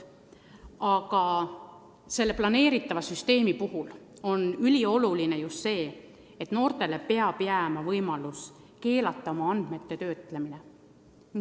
Aga selle plaanitava süsteemi puhul on ülioluline just see, et noortele peab jääma võimalus keelata oma andmete töötlemine.